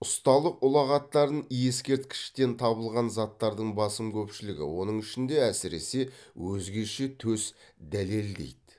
ұсталық ұлағаттарын ескерткіштен табылған заттардың басым көпшілігі оның ішінде әсіресе өзгеше төс дәлелдейді